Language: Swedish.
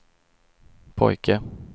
pojke